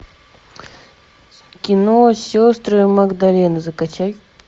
кино сестры магдалины закачай